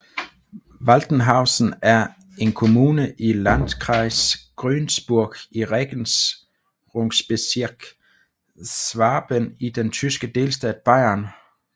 Waltenhausen er en kommune i Landkreis Günzburg i Regierungsbezirk Schwaben i den tyske delstat Bayern